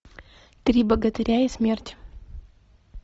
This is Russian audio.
три богатыря и смерть